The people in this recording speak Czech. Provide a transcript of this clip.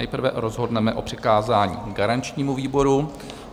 Nejprve rozhodneme o přikázání garančnímu výboru.